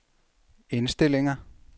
indstillinger